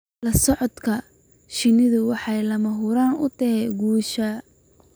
La socodka shinnidu waxay lama huraan u tahay guusha.